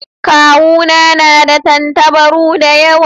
Kawu na na da tantabaru da yawa.